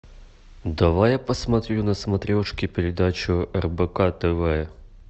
давай я посмотрю на смотрешке передачу рбк тв